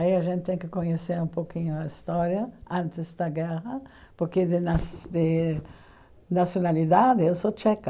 Aí a gente tem que conhecer um pouquinho a história antes da guerra, porque de nasc de nacionalidade eu sou tcheca.